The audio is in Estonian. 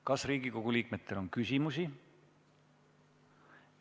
Kas Riigikogu liikmetel on küsimusi?